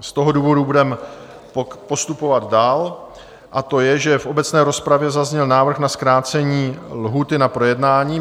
Z toho důvodu budeme postupovat dál a to je, že v obecné rozpravě zazněl návrh na zkrácení lhůty na projednání.